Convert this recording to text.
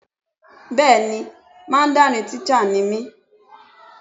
Bẹ́ẹ̀ni Mandarin teacher ni mí.